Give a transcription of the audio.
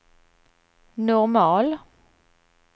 normal